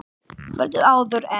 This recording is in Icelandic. Kvöldið áður en